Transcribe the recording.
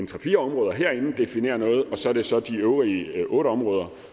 tre fire områder herinde definerer noget og så er det så er de øvrige otte områder